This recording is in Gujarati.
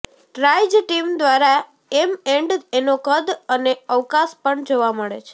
ટ્રાઇજ ટીમ દ્વારા એમ એન્ડ એનો કદ અને અવકાશ પણ જોવા મળે છે